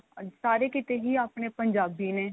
ਸਾਰੇ ਕਿਤੇ ਹੀ ਆਪਣੇ ਪੰਜਾਬੀ ਨੇ